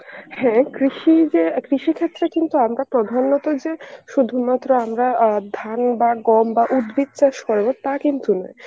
হ্যাঁ কৃষি যে আর কৃষি ক্ষেত্রে কিন্তু আমরা প্রধানত যে শুধুমাত্র আমরা অ্যাঁ ধান বা গম বা উদ্ভিদ চাষ করবো তা কিন্তু নয়.